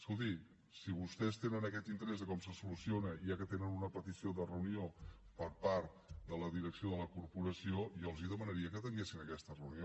escolti si vostès tenen aquest interès de com se soluciona ja que tenen una petició de reunió per part de la direcció de la corporació jo els demanaria que atenguessin aquesta reunió